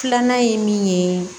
Filanan ye min ye